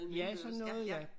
Ja sådan noget ja